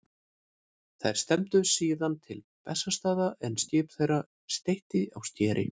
Þeir stefndu síðan til Bessastaða en skip þeirra steytti á skeri.